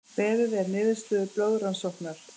Beðið er niðurstöðu blóðrannsóknar